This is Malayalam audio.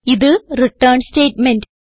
ഇത് റിട്ടേൺ സ്റ്റേറ്റ്മെന്റ്